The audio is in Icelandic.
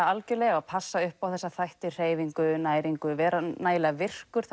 algjörlega og passa upp á hreyfingu næringu og vera nægilega virkur